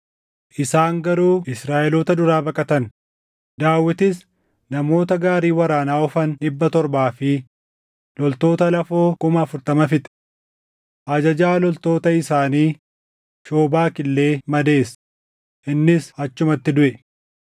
Isaan garuu Israaʼeloota duraa baqatan; Daawitis namoota gaarii waraanaa oofan dhibba torbaa fi loltoota lafoo kuma afurtama fixe. Ajajaa loltoota isaanii Shoobak illee madeesse; innis achumatti duʼe.